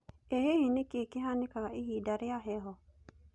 ĩ hihi nĩkĩĩ kĩhanĩkanga ihinda rĩa heho